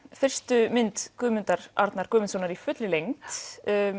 fyrstu mynd Guðmundar Arnar Guðmundssonar í fullri lengd